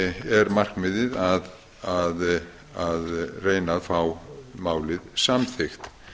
er markmiðið að reyna að fá málið samþykkt